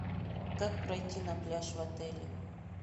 как пройти на пляж в отеле